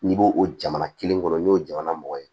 N'i b'o o jamana kelen kɔnɔ n'o ye jamana mɔgɔ ye